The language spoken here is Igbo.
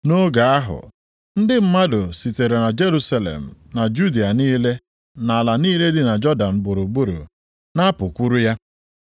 Nʼoge ahụ, ndị mmadụ sitere Jerusalem, na Judịa niile, nʼala niile dị Jọdan gburugburu, na-apụkwuru ya.